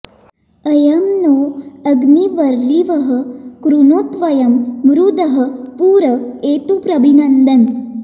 अ॒यं नो॑ अ॒ग्निर्वरि॑वः कृणोत्व॒यं मृधः॑ पु॒र ए॑तु प्रभि॒न्दन्न्